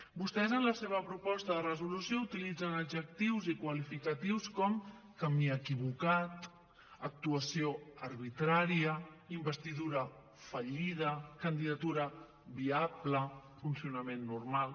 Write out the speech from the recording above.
vostès en la seva proposta de resolució utilitzen adjectius i qualificatius com camí equivocat actuació arbitrària investidura fallida candidatura viable funcionament normal